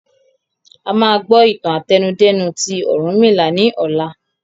A máa gbọ́ ìtàn àtẹnudẹ́nu ti Orunmila ni ọ̀la